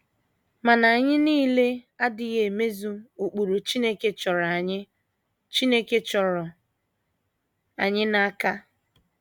Mana, anyị niile adịghị emezu ụkpụrụ Chineke chọrọ anyị Chineke chọrọ anyị n’aka.